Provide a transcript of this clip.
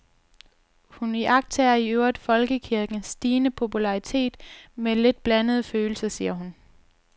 Hun iagttager i øvrigt folkekirkens stigende popularitet med lidt blandede følelser, siger hun.